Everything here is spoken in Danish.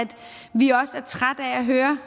vi også er trætte af at høre